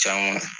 Can kɔni